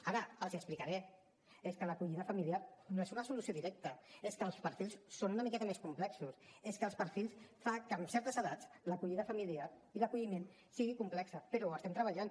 ara els ho explicaré és que l’acollida familiar no és una solució directa és que els perfils són una miqueta més complexos és que els perfils fan que en certes edats l’acollida familiar i l’acolliment siguin complexos però hi estem treballant